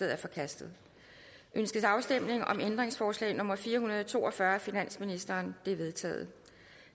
er forkastet ønskes afstemning om ændringsforslag nummer fire hundrede og to og fyrre af finansministeren det er vedtaget